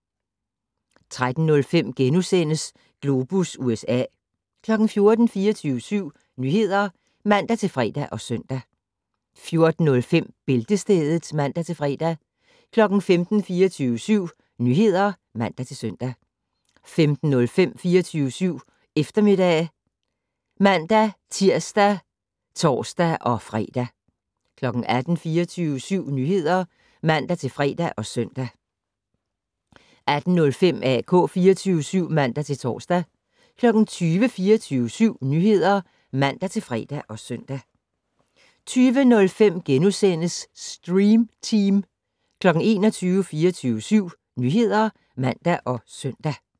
13:05: Globus USA * 14:00: 24syv Nyheder (man-fre og søn) 14:05: Bæltestedet (man-fre) 15:00: 24syv Nyheder (man-søn) 15:05: 24syv Eftermiddag (man-tir og tor-fre) 18:00: 24syv Nyheder (man-fre og søn) 18:05: AK 24syv (man-tor) 20:00: 24syv Nyheder (man-fre og søn) 20:05: Stream Team * 21:00: 24syv Nyheder (man og søn)